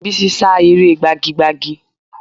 Bísí sá eré gbagi gbagi